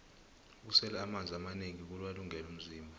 ukusela amanzi amanengi kuwulungele umzimba